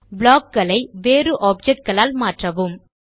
block களை வேறு object களால் மாற்றவும்